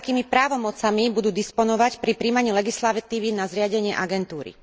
akými právomocami budú disponovať pri prijímaní legislatívy na zriadenie agentúry.